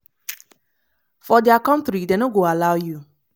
for dia kontri dem no go allow you.”